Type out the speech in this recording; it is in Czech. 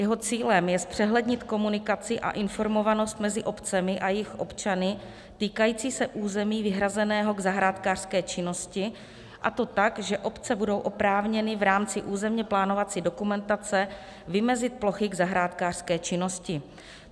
Jeho cílem je zpřehlednit komunikaci a informovanost mezi obcemi a jejich občany týkající se území vyhrazeného k zahrádkářské činnosti, a to tak, že obce budou oprávněny v rámci územně plánovací dokumentace vymezit plochy k zahrádkářské činnosti.